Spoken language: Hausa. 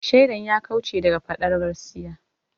Shaidan ya kauce daga faɗar gaskiya.